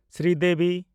Sridevi